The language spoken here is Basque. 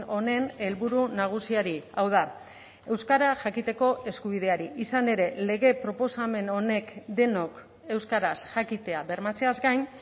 honen helburu nagusiari hau da euskara jakiteko eskubideari izan ere lege proposamen honek denok euskaraz jakitea bermatzeaz gain